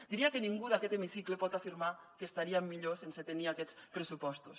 diria que ningú d’aquest hemicicle pot afirmar que estaríem millor sense tenir aquests pressupostos